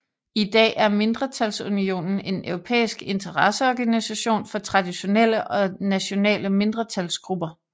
I dag er mindretalsunionen en europæisk interesseorganisation for traditionelle og nationale mindretalsgrupper